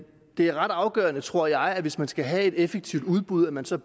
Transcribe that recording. det er ret afgørende tror jeg hvis man skal have et effektivt udbud at man så